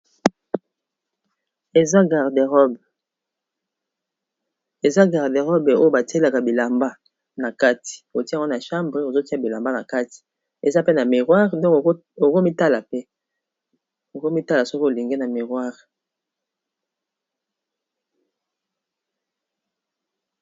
Eza garde robe, eza garde robe oyo batielaka bilamba na kati otie yango na chambre ozotia bilamba na kati eza pe na miroir oko mitala pe oko mitala soki olingi na miroire.